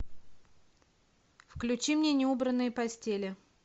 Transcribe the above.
включи мне неубранные постели